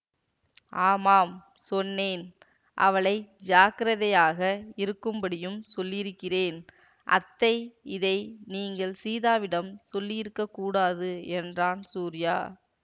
ஆமாம் சொன்னேன் அவளை ஜாக்கிரதையாக இருக்கும்படியும் சொல்லியிருக்கிறேன்அத்தை இதை நீங்கள் சீதாவிடம் சொல்லியிருக்கக் கூடாது என்றான் சூரியா